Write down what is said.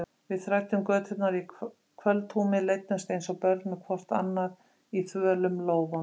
Við þræddum göturnar í kvöldhúmi, leiddumst eins og börn með hvort annað í þvölum lófunum.